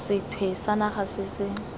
sethwe sa naga se se